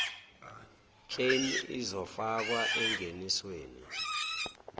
claim izofakwa engenisweni